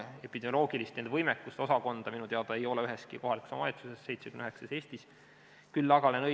Epidemioloogilise võimekuse osakonda ei ole minu teada üheski kohalikus omavalitsuses, mida on Eestis 79.